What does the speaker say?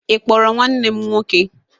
Ị kpọrọ nwanne m nwọke?